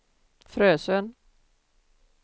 Frösön